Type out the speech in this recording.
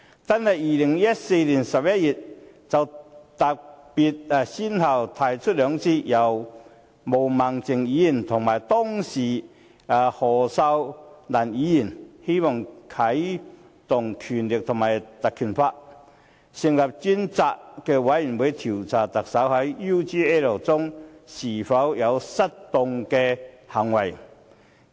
單是在2014年11月，泛民便先後兩次分別由毛孟靜議員及當時的何秀蘭議員提出相關議案，要求引用《立法會條例》，成立專責委員會調查特首在 UGL 事件中是否有失當行為。